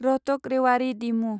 Rohtak Rewari डिमु